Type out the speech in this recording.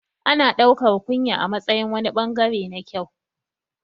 Ana ɗaukar kunya a matsayin wani ɓangare na kyau